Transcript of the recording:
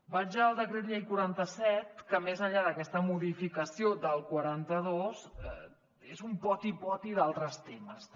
vaig al decret llei quaranta set que més enllà d’aquesta modificació del quaranta dos és un poti poti d’altres temes també